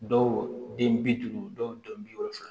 Dɔw den bi duuru dɔw den bi wolofila